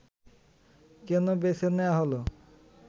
কেন বেছে নেয়া হলো